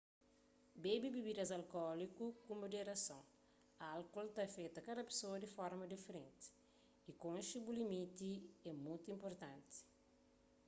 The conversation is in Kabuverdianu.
bebe bibidas alkóliku ku muderason álkol ta afeta kada pesoa di forma diferenti y konxe bu limiti é mutu inpurtanti